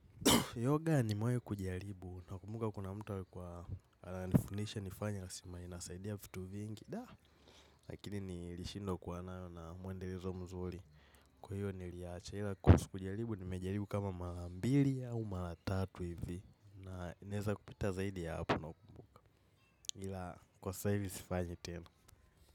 Yoga nimewai kujaribu na kumbuka kuna mtu alikuwa anifundisha nifanye anasema inasaidia fitu vingi. Daa, lakini nilishindwa kuwa nayo na mwendelezo mzuri. Kwa hiyo niliiacha ila kujaribu nimejaribu kama marambiri au maratatu hivi. Na inaeza kupita zaidi ya hapo ila kwa saizi sifanyi tenu.